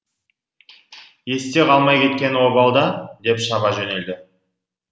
есте қалмай кеткені обал да деп шаба жөнелді